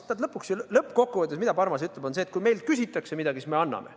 Sest lõppkokkuvõttes see, mida Parmas ütleb, on see, et kui meilt küsitakse midagi, siis me anname.